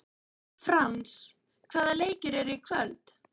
Frans, hvaða leikir eru í kvöld?